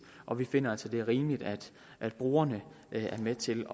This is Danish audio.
og vi finder altså at det er rimeligt at at brugerne er med til